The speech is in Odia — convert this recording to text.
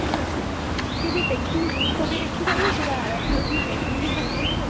ବି ଦେଖିବି ଦୃଶ୍ୟ ବି ଦେଖି ପାରିବ ତମେ ଆରାମ ସେ ବସି କି maggie ବି ଖାଇ ପାରିବ